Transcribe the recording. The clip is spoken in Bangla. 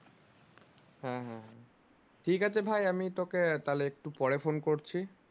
হ্যাঁ হ্যাঁ হ্যাঁ ঠিকাছে ভাই আমি তোকে তাহলে একটু পরে phone করছি